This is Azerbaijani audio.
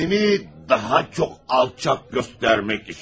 Kendimi daha çok alçak göstermek için.